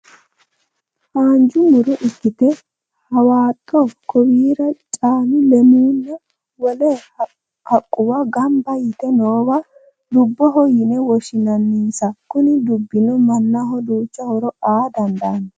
Haanja mu'ro ikkite: haxaawo, koowire, carru, leemmunna wole haqquwa gamba yite noowa duubboho yine woshshinannnasa. Kuni dubbino mannaho duucha horo aa dandaanno.